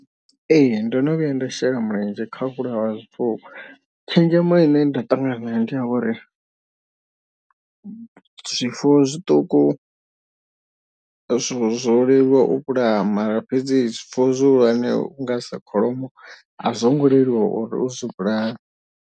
Ee ndo no vhuya nda shela mulenzhe kha u vhulaya zwifuwo tshenzhemo ine nda ṱangana nayo ndi ya uri. Zwifuwo zwiṱuku zwo leluwa u vhulaya mara fhedzi zwifuwo zwihulwane zwi nonga sa kholomo a zwo ngo leluwa uri uzwi vhulae.